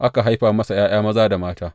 Aka haifa masa ’ya’ya maza da mata.